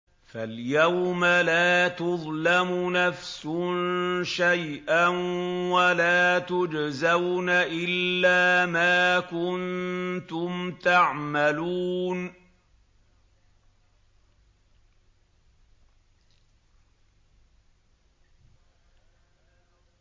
فَالْيَوْمَ لَا تُظْلَمُ نَفْسٌ شَيْئًا وَلَا تُجْزَوْنَ إِلَّا مَا كُنتُمْ تَعْمَلُونَ